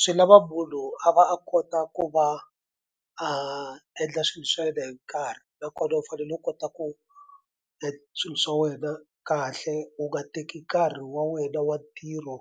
Swi lava munhu a va a kota ku va a endla swilo swa yena hi nkarhi nakona u fanele u kota ku swilo swa wena kahle u nga teki nkarhi wa wena wa ntirho